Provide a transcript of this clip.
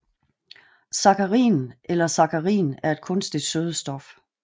Sakkarin eller saccharin er et kunstigt sødestof